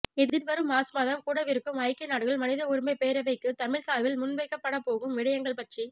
எதிர்வரும் மார்ச் மாதம் கூடவிருக்கும் ஐக்கிய நாடுகள் மனித உரிமைப் பேரவைக்கு தமிழர் சார்பில் முன்வைக்கப்படப்போகும் விடயங்கள் பற்றி